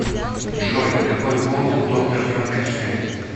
джой какой пол у доктор франкенштейн